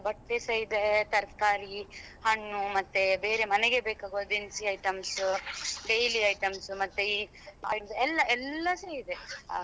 ಬಟ್ಟೆಸ ಇದೆ ತರಕಾರಿ ಹಣ್ಣು ಮತ್ತೆ ಬೇರೆ ಮನೆಗೆ ಬೇಕಾಗುವ ದಿನ್ಸಿ items daily items ಮತ್ತೆ ಈ ಎಲ್ಲ ಎಲ್ಲಾಸ ಇದೆ ಹಾ.